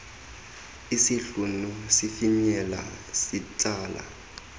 isihlunu sifinyela sitsala